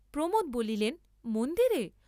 প্রমোদ বলিলেন, মন্দিরে?